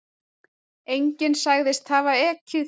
Enginn sagðist hafa ekið